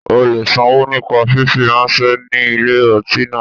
O le sanwó nípa fífi ráńṣẹ́ ní ilé ọtí náà.